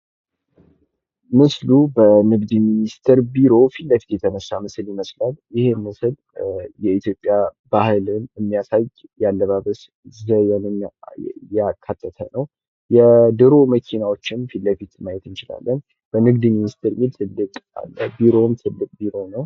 ምስሉ በንግድ ሚኒስቴር ቢሮ ፊት ለፊት የተነሳ ፎቶ ይመስላል። ይህ ምስል የኢትዮጵያን ባህልን የሚያሳይ የአለባበስ ዘዴን ያካተተ ነው። የድሮ መኪናዎችን ፊትለፊት ማየት እንችላለን።